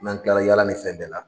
N'an kila la yaala ni fɛn bɛɛ la